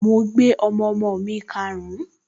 Mo gbé ọmọọmọ mi karùn-ún